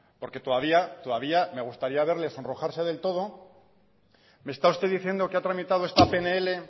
porque todavía todavía me gustaría verle sonrojarse del todo me está usted diciendo que ha tramitado esta pnl